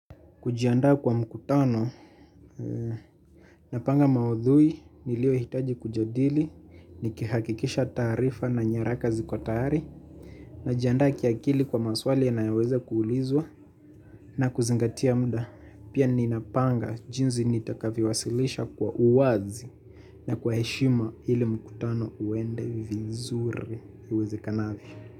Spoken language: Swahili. Kujiandaa kwa mkutano, napanga maudhui niliyohitaji kujadili, nikihakikisha taarifa na nyaraka ziko tayari, najiandaa kiakili kwa maswali yanayoweza kuulizwa na kuzingatia muda. Pia ninapanga jinsi nitakavyowasilisha kwa uwazi na kwa heshima ili mkutano uende vizuri uwezekanavyo.